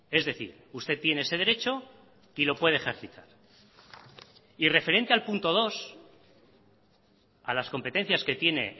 es decir usted tiene ese derecho y lo puede ejercitar referente al punto dos a las competencias que tiene